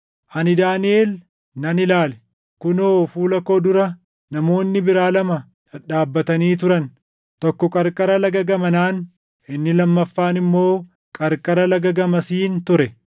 Ani Daaniʼel nan ilaale; kunoo fuula koo dura namoonni biraa lama dhadhaabatanii turan; tokko qarqara lagaa gamanaan, inni lammaffaan immoo qarqara lagaa gamasiin ture.